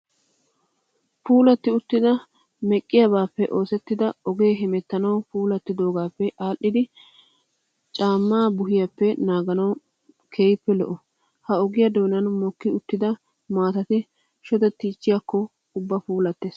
Puulatti uttida meqqiyaabaappe oosettida ogee hemettanawu puulattoogaappe adhdhidi nucaammaa buhiyaappe naaganawu keehoppe lo'o. Ha ogiyaa doonan mokki uttida maatati shodettiichchiyaakko ubba puulattees.